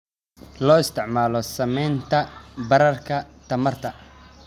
Loo isticmaalo samaynta baararka tamarta.